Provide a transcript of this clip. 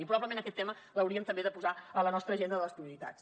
i probablement aquest tema l’hauríem també de posar a la nostra agenda de les prioritats